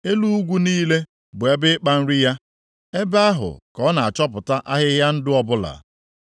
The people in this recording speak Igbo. Elu ugwu niile bụ ebe ịkpa nri ya, ebe ahụ ka ọ na-achọpụta ahịhịa ndụ ọbụla.